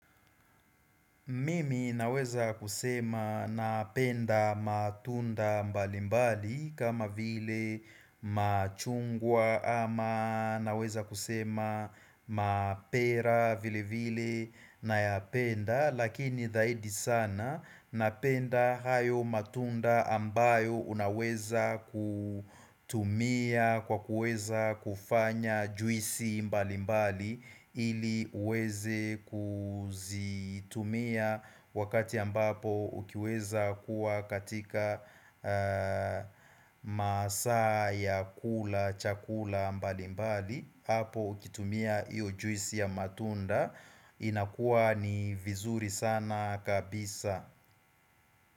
Mimi naweza kusema napenda matunda mbali mbali kama vile machungwa ama naweza kusema mapera vile vile nayapenda Lakini zaidi sana napenda hayo matunda ambayo unaweza kutumia kwa kuweza kufanya juisi mbali mbali ili uweze kuzitumia wakati ambapo ukiweza kuwa katika masaa ya kula chakula mbali mbali hapo ukitumia hiyo juisi ya matunda inakuwa ni vizuri sana kabisa.